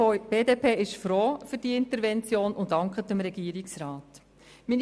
Die BDP ist froh um diese Intervention und dankt dem Regierungsrat dafür.